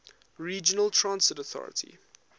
regional transit authority